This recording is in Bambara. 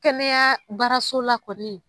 Kɛnɛya baaraso la kɔni